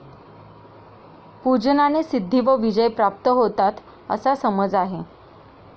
पूजनाने सिद्धी व विजय प्राप्त होतात असा समाज आहे.